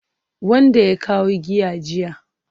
Wanda ya kawo giya jiya